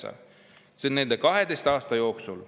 on nende 12 aasta jooksul.